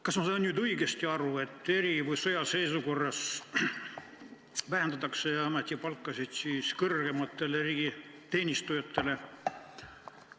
Kas ma sain õigesti aru, et eri- või sõjaseisukorras vähendatakse kõrgemate riigiteenistujate ametipalku?